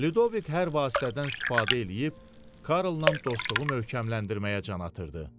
Lidovik hər vasitədən istifadə eləyib Karlnan dostluğu möhkəmləndirməyə can atırdı.